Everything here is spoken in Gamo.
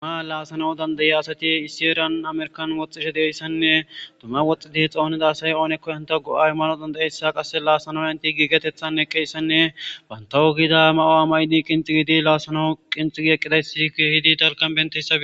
duma laasano dandayiya asati isiyerian amerkan woxxishe deeyssanne duma woxxi di xoonida asay oonekko hanta go7ay mano dandayeyssa qasse laasanoya inti giigetethan eqqeyssanne bantawo gida ma7o a may7di qinxigidi laasano qinxigi eqqidaysi hidi talkan bentessai